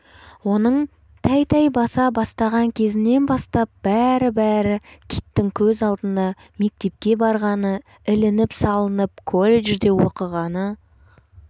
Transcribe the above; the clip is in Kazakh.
оның тәй-тәй баса бастаған кезінен бастап бәрі-бәрі киттің көз алдында мектепке барғаны ілініп-салынып колледжде оқығаны